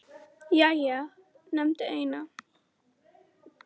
Jæja, nefndu eina